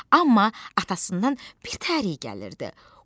Amma atasından bir təhər iy gəlirdi.